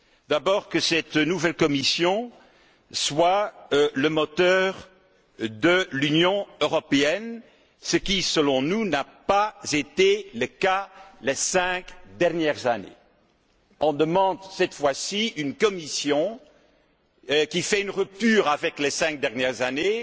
D'abord que cette nouvelle Commission soit le moteur de l'Union européenne, ce qui, selon nous, n'a pas été le cas ces cinq dernières années. Nous demandons cette fois ci une Commission qui rompe avec les cinq dernières années